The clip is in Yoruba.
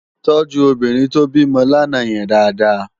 Tòjú óbìrín tó bimò làná yèn dàádàá